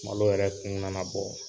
Malo yɛrɛ kun nana bɔ.